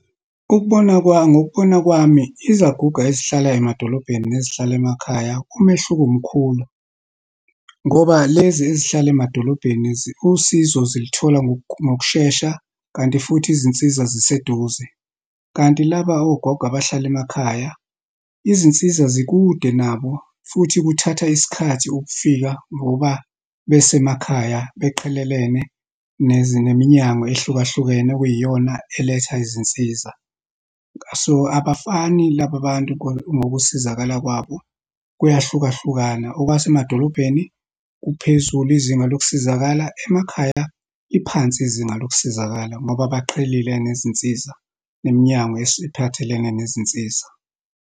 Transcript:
Ukubona kwami, ngokubona kwami, izaguga ezihlala emadolobheni nezihlala emakhaya, umehluko mkhulu. Ngoba lezi ezihlala emadolobheni usizo ziluthola ngokushesha, kanti futhi izinsiza ziseduze. Kanti, laba ogogo abahlala emakhaya, izinsiza zikude nabo futhi kuthatha isikhathi ukufika ngoba besemakhaya, baqhelelene neminyango ehlukahlukene okuyiyona eletha izinsiza. So, abafani laba bantu ngokusizakala kwabo, kuyahlukahlukana, okwasemadolobheni kuphezulu. Izinga lokusizakala emakhaya liphansi, izinga lokusizakala ngoba baqhelelene nezinsiza neminyango esiphathelene nezinsiza.